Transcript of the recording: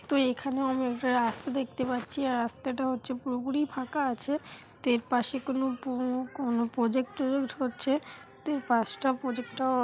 তো এখানে আমি একটা রাস্তা দেখতে পাচ্ছি রাস্তা টা হচ্ছে পুরোপুরি ফাকা আছে এর পাসে কোনো কোনো প্রোজেক্ট টজেক্ট হচ্ছে তো পাস টা প্রোজেক্ট টা--